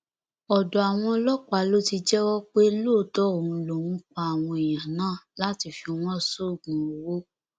ọdọ àwọn ọlọpàá ló ti jẹwọ pé lóòótọ òun lòún pa àwọn èèyàn náà láti fi wọn sóògùn owó